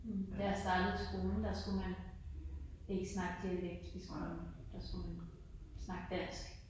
Da jeg startede i skolen der skulle man ikke snakke dialekt i skolen, der skulle man snakke dansk